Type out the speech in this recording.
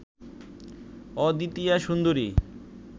অদ্বিতীয়া সুন্দরী